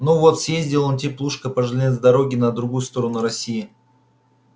ну вот съездил он теплушка по железной дороге на другую сторону россии